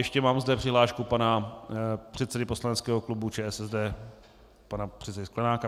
Ještě mám zde přihlášku pana předsedy poslaneckého klubu ČSSD pana předsedy Sklenáka.